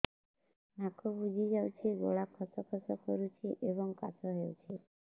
ନାକ ବୁଜି ଯାଉଛି ଗଳା ଖସ ଖସ କରୁଛି ଏବଂ କାଶ ହେଉଛି